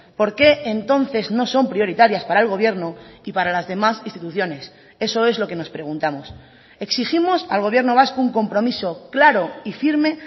por qué entonces no son prioritarias para el gobierno y para las demás instituciones eso es lo que nos preguntamos exigimos al gobierno vasco un compromiso claro y firme